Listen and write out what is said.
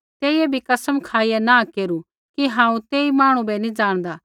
तेइयै भी कसम खाईया नाँह केरू कि हांऊँ तेई मांहणु बै नी ज़ाणदा